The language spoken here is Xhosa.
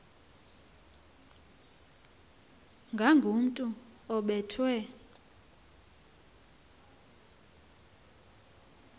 ngakomntu obe thwe